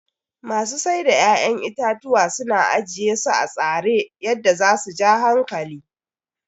masu Saida 'ya'yan itatuwa suna ajiyesu atsare yadda zasu ja hankali.